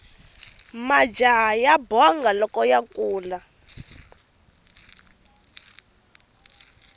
majaha ya bonga loko ya kula